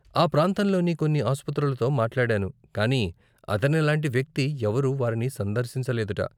ఆ ప్రాంతంలోని కొన్ని అస్పతులతో మాట్లాడాను కానీ అతనిలాంటి వ్యక్తి ఎవరు వారిని సందర్శించలేదుట.